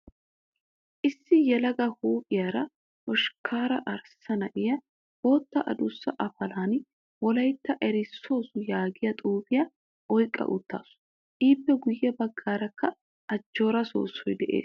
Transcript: Issi yelaga huuphiyaara hoshkkaara arssa na'iyaa bootta adussa afalan wolayitta eros yaagiyaa xuupiyaa oyiqqa uttaasu. Ippe guyye baggaarakka ajjoora soossoyi des.